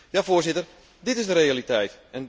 Ja, voorzitter, dit is de realiteit.